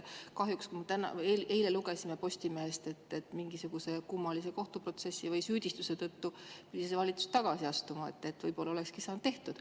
Kahjuks eile lugesime Postimehest, et mingisuguse kummalise kohtuprotsessi või süüdistuse tõttu pidi see valitsus tagasi astuma, muidu võib-olla olekski saanud selle tehtud.